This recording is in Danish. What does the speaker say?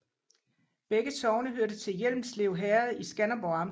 Begge sogne hørte til Hjelmslev Herred i Skanderborg Amt